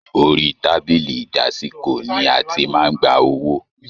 Orí tábìlì ìdásìkò ní a tí màá n gbà owó.